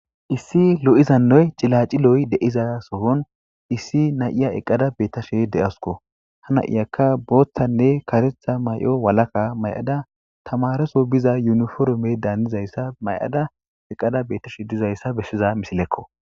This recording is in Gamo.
issi lo7izannoy cilaciloy de7iza sohon issi nayiya eqqada beettashe de7awusko ha na7iyakka booththanne karetha may7o walaka may7ada tamareso biza yuniforume daandizayssa may7ada eqqada bettashe dizayssa beshshiza misilekko